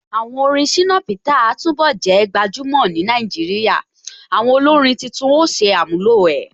Àwọn orin Shina Peter a túnbọ̀ jẹ́ gbajúmọ̀ ni Nàìjíríà, àwọn olórin títún ó ṣe àmúlò ẹ̀.